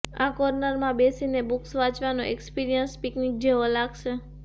આ કોર્નરમાં બેસીને બુક્સ વાંચવાનો એક્સ્પિરિયન્સ પિકનિક જેવો લાગશે